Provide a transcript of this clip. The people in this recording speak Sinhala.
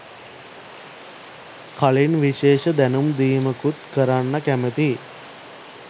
කලින් විශේෂ දැනුම් දීමකුත් කරන්න කැමතියි.